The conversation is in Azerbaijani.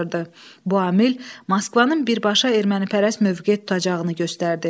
Bu amil Moskvanın birbaşa ermənipərəst mövqe tutacağını göstərdi.